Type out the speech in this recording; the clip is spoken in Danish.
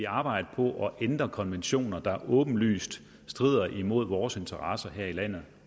arbejde på at ændre konventioner der åbenlyst strider imod vores interesser her i landet